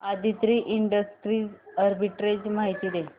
Aditri industries arbitrage माहिती दे